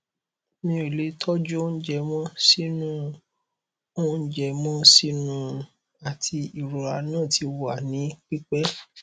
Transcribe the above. mi o le tọju ounjẹ mọ sinu ounjẹ mọ sinu ati irora naa ti wa ni pipẹ